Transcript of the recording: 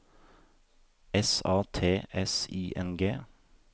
S A T S I N G